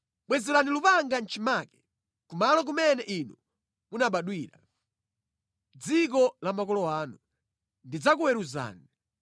“ ‘Bwezerani lupanga mʼchimake. Ku malo kumene inu munabadwira, mʼdziko la makolo anu, ndidzakuweruzani.